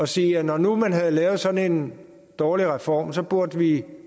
sige at når nu man havde lavet sådan en dårlig reform så burde vi